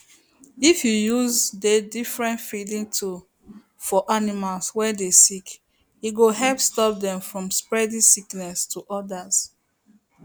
if you use dey different feeding tools for animals were dey sick e go help stop dem from spreading sickness to others